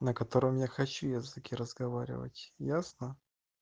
на котором я хочу языке разговаривать ясно